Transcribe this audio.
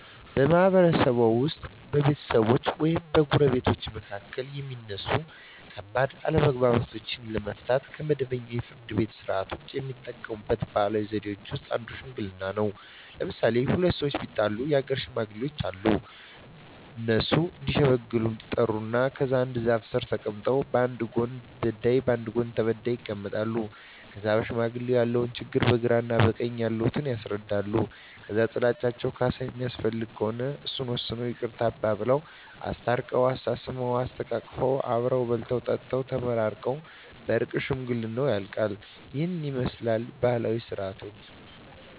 በማህበረሰብዎ ውስጥ በቤተሰቦች ወይም በጎረቤቶች መካከል የሚነሱ ከባድ አለመግባባቶችን ለመፍታት (ከመደበኛው የፍርድ ቤት ሥርዓት ውጪ) የሚጠቀሙባቸው ባህላዊ ዘዴዎች ውስጥ አንዱ ሽምግልና ነው። ለምሣሌ፦ ሁለት ሠዎች ቢጣሉ የአገር ሽማግሌዎች አሉ። እነሱ እዲሸመግሉ ይጠሩና ከዛ አንድ ዛፍ ስር ተቀምጠው በአንድ ጎን በዳይ በአንድ ጎን ተበዳይ ይቀመጣሉ። ከዛ ለሽማግሌዎች ያለውን ችግር በግራ በቀኝ ያሉት ያስረዳሉ። ከዛ ጥላቸው ካሣ የሚያስፈልገው ከሆነ እሱን ወስነው ይቅርታ አባብለው። አስታርቀው፤ አሳስመው፤ አሰተቃቅፈው አብረው በልተው ጠጥተው ተመራርቀው በእርቅ ሽምግልናው ያልቃ። ይህንን ይመስላል ባህላዊ ስርዓታችን።